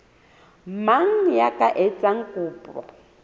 mang ya ka etsang kopo